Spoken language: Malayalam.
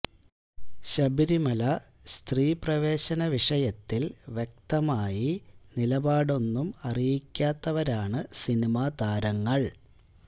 ശബരിമല സ്ത്രീ പ്രവേശന വിഷയത്തിൽ വ്യക്തമായി നിലപാടൊന്നും അറിയിക്കാത്തവരാണ് സിനിമ താരങ്ങൾ